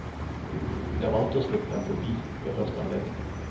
Jeg valgte å slippe den forbi ved første anledning.